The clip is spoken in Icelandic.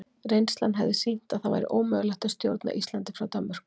Reynslan hefði sýnt að það væri ómögulegt að stjórna Íslandi frá Danmörku.